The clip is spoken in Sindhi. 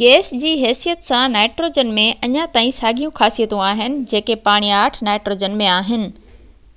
گئس جي حيثيت سان نائيٽروجن ۾ اڃا تائين ساڳيون خاصيتون آهن جيڪي پاڻياٺ نائٽروجن ۾ آهن